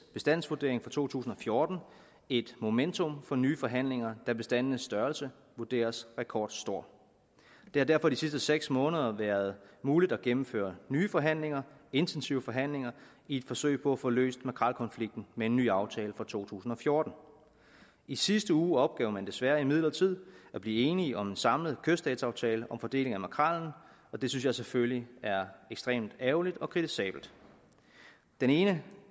bestandsvurdering for to tusind og fjorten et momentum for nye forhandlinger da bestandenes størrelse vurderes rekordstor det har derfor de sidste seks måneder været muligt at gennemføre nye forhandlinger intensive forhandlinger i et forsøg på at få løst makrelkonflikten med en ny aftale for to tusind og fjorten i sidste uge opgav man desværre imidlertid at blive enige om en samlet kyststatsaftale om fordeling af makrellen og det synes jeg selvfølgelig er ekstremt ærgerligt og kritisabelt den ene